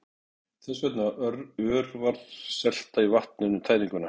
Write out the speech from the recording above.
Þess vegna örvar selta í vatninu tæringuna.